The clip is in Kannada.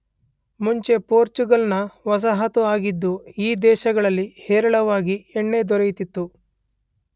ಮುಂಚೆ ಪೋರ್ಚುಗಲ್ನ ವಸಾಹತು ಆಗಿದ್ದ ಈ ದೇಶದಲ್ಲಿ ಹೇರಳವಾಗಿ ಎಣ್ಣೆ ದೊರೆಯುತ್ತಿತ್ತು